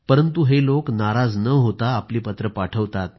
परंतु हे लोक नाराज न होता आपली पत्रे पाठवतात